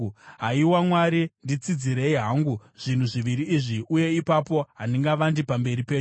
“Haiwa Mwari, nditsidzirei hangu zvinhu zviviri izvi. Uye ipapo handingavandi pamberi penyu.